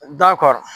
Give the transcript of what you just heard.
Da kɔrɔ